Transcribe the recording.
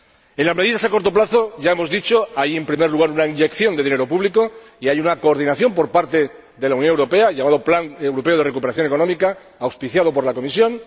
En las medidas a corto plazo —ya lo hemos dicho—, hay, en primer lugar, una inyección de dinero público y hay una coordinación por parte de la Unión Europea el llamado Plan Europeo de Recuperación Económica, auspiciado por la Comisión